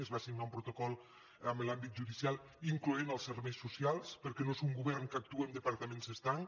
es va signar un protocol amb l’àmbit judicial incloent hi els serveis socials perquè no és un govern que actua amb departaments estanc